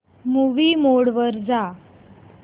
movie mode वर जा